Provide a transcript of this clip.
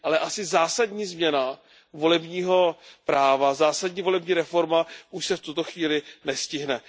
Ale asi zásadní změna volebního práva, zásadní volební reforma už se v tuto chvíli nestihne.